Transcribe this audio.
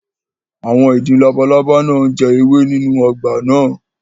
Àwọn ìdin labalábá náà ń jẹ ewé nínú ọgbà náà